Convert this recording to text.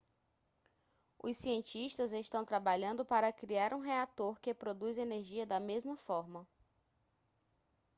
os cientistas estão trabalhando para criar um reator que produz energia da mesma forma